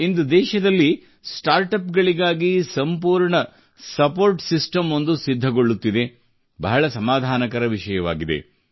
ಇಂದು ದೇಶದಲ್ಲಿ ಸ್ಟಾರ್ಟಪ್ ಗಳಿಗಾಗಿ ಸಂಪೂರ್ಣ ಸಪೋರ್ಟ್ ಸಿಸ್ಟಮ್ ಒಂದು ಸಿದ್ಧಗೊಳ್ಳುತ್ತಿದೆ ಬಹಳ ಸಮಾಧಾನಕರ ವಿಷಯವಾಗಿದೆ